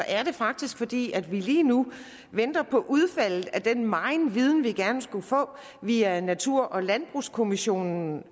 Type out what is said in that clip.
er det faktisk fordi vi lige nu venter på den meget viden vi gerne skulle få via natur og landbrugskommissionen